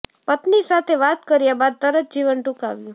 પત્ની સાથે વાત કર્યા બાદ તરત જીવન ટૂંકાવ્યું